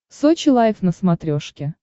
сочи лайф на смотрешке